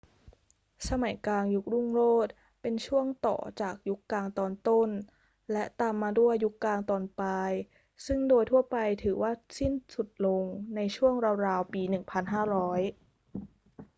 สมัยกลางยุครุ่งโรจน์เป็นช่วงต่อจากยุคกลางตอนต้น และตามมาด้วยยุคกลางตอนปลายซึ่งโดยทั่วไปถือว่าสิ้นสุดลงในช่วงราวๆ ปี 1500